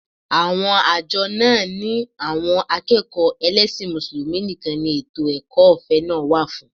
Àwọn àjọ náà ni àwọn akẹ́kọ̀ọ́ ẹlẹ́sìn Mùsùlùmí nìkan ni ètò ẹ̀kọ́ ọ̀fẹ́ náà wà fún